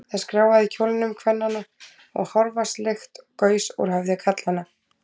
Það skrjáfaði í kjólum kvennanna, og hárvatnslykt gaus úr höfði karlanna.